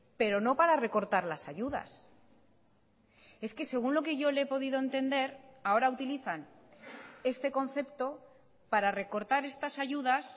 pero no para recortar las ayudas es que según lo que yo le he podido entender ahora utilizan este concepto para recortar estas ayudas